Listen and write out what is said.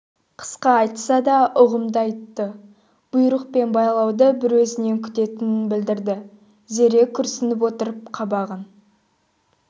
қысқа айтса да ұғымды айтты бұйрық пен байлауды бір өзінен күтетінін білдірді зере күрсініп отырып қабағын